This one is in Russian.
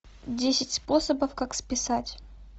десять способов как списать